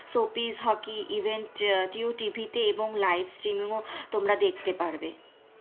Hockey event Jio TV তে এবং livestream এও দেখতে পারবে।